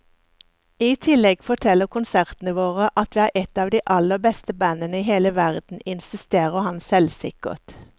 I tillegg forteller konsertene våre at vi er et av de aller beste bandene i hele verden, insisterer han selvsikkert.